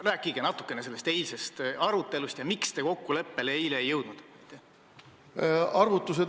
Rääkige natukene sellest eilsest arutelust ja sellest, miks te eile kokkuleppele ei jõudnud.